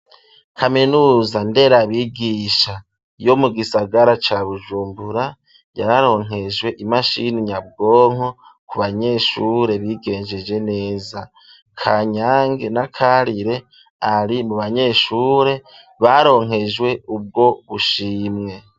Kaminuza nderabigisha yo mu gisagara ca bujumbura yararonkejwe imashini nyabwonko ku banyeshure bigenjeje neza kanyange n'akarire ari mu banyeshure baronkejwe ubwo bushimye.